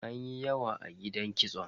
Anyi yawa a gidan kitson.